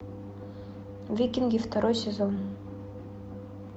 викинги второй сезон